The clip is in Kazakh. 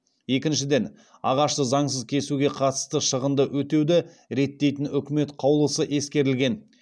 екіншіден ағашты заңсыз кесуге қатысты шығынды өтеуді реттейтін үкімет қаулысы ескерілген